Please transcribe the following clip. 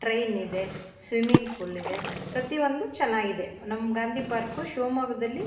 train ಇದೆ swimming pool ಇದೆ ಪ್ರತಿಯೊಂದು ಚನ್ನಾಗಿದೆ ನಮ್ಮ್ ಗಾಂಧಿ ಪಾರ್ಕ್ ಶಿಮೊಗ್ಗದಲಿ --